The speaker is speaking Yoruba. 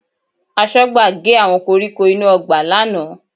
Aṣọ́gbà gé àwọn koríko inú ọgbà lánàá